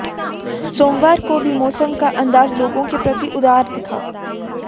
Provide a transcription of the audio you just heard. सोमवार को भी मौसम का अंदाज लोगों के प्रति उदार दिखा